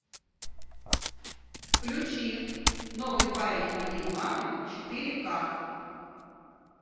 включи новый парень моей мамы четыре ка